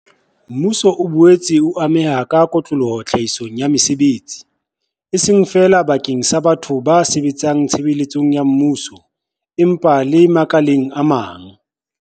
Mmuso o boetse o ameha ka kotloloho tlhahisong ya mesebetsi, e seng feela bakeng sa batho ba sebetsang tshebeletsong ya mmuso, empa le makaleng a mang.